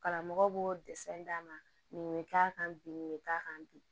Karamɔgɔw b'o d'a ma nin bɛ k'a kan bi nin bɛ k'a kan bi